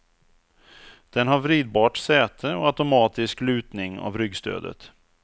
Den har vridbart säte och automatisk lutning av ryggstödet.